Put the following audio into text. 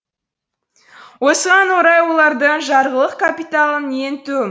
осыған орай олардың жарғылық капиталының ең төм